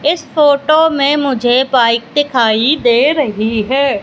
इस फोटो में मुझे बाइक दिखाई दे रही है।